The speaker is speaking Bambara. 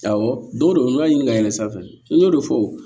Awɔ don dɔ n'i y'a ɲinin ka yɛlɛ sanfɛ n'o de fɔ wo